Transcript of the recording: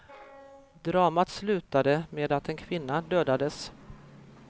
Dramat slutade med att en kvinna dödades.